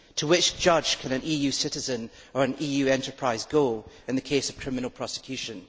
To which judge can an EU citizen or an EU enterprise go in the case of criminal prosecution?